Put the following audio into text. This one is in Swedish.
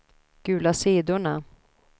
gula sidorna